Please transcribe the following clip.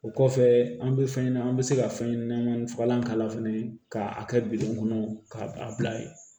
O kɔfɛ an bɛ fɛn ɲɛnama an bɛ se ka fɛn ɲɛnamanin fagalan k'a la fɛnɛ k'a kɛ bidɔn kɔnɔ k'a bila ye